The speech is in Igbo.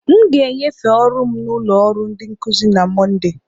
M ga-enyefee ọrụ m na ụlọ ọrụ ndi nkuzi na Mọnde.